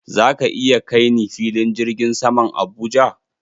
Zaka iya kai ni filin jirgin saman Abuja?